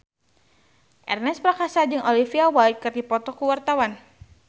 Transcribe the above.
Ernest Prakasa jeung Olivia Wilde keur dipoto ku wartawan